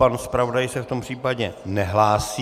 Pan zpravodaj se v tom případě nehlásí.